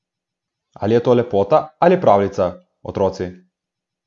Ali je to lepota ali pravljica, otroci?